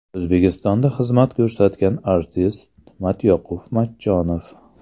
O‘zbekistonda xizmat ko‘rsatgan artist Matyoqub Matchonov.